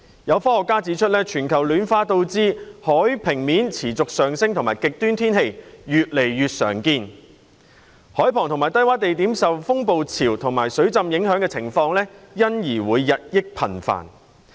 有科學家指出，全球暖化導致海平面持續上升和極端天氣越來越常見，海旁及低窪地點受風暴潮和水浸影響的情況因而會日益頻繁。